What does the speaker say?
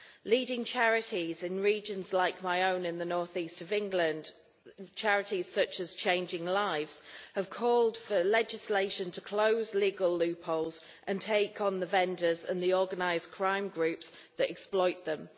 Leading charities in regions like my own of North East England charities such as Changing Lives have called for legislation to close legal loopholes and take on the vendors and the organised crime groups that exploit them.